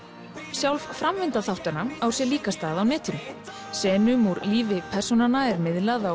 sjálf framvinda þáttanna á sér líka stað á netinu senum úr lífi persónanna er miðlað á